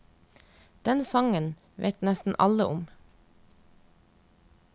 Den sangen vet nesten alle om.